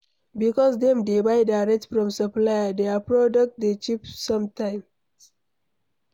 Because dem dey buy direct from supplier, their producs dey cheap sometimes